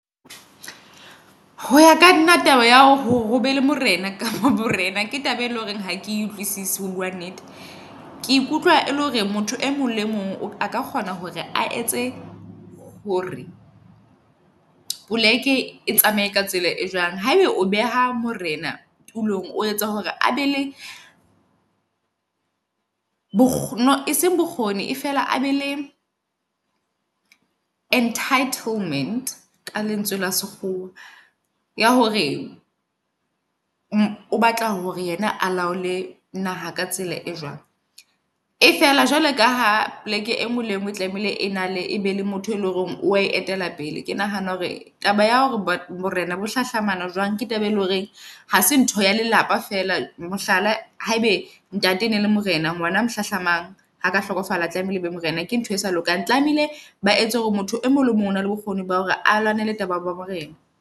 Ho ya ka nna taba ya ho be le morena kapa borena, ke taba e leng hore ha ke utlwisise ho bua nnete. Ke ikutlwa e le hore motho e mong le mong aka kgona hore a etse hore poleke e tsamaye ka tsela e jwang. Haebe o beha morena tulong, o etsa hore abe le bokgoni e seng bokgoni e fela a be le entitlement ka lentswe la sekgowa. Ya hore o batla hore yena a laole naha ka tsela e jwang. E fela jwalo kaha poleke e ngwe le engwe e tlamehile ena le e be le motho e leng hore o wa e etela pele. Ke nahana hore taba ya hore borena bo hlahlama na jwang ke taba e loreng ha se ntho ya lelapa fela. Mohlala haebe ntate ene e le morena ngwana a mo hlahlamang ha ka hlokofala tlamehile be morena. Ke ntho e sa lokang. Tlamehile ba etse hore motho e mong o mong ona le bokgoni ba hore a lwanele taba ya borena.